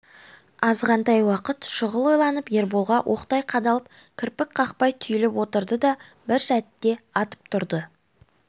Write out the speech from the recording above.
азғантай уақыт шұғыл ойланып ерболға оқтай қадалып кірпік қақпай түйіліп отырды да бір сәтте атып тұрды